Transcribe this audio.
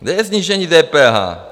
Kde je snížení DPH?